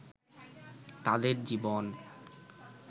তাদের জীবন